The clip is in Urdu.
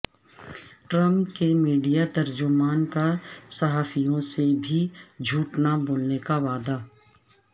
ٹرمپ کے میڈیا ترجمان کا صحافیوں سے کبھی جھوٹ نہ بولنے کا وعدہ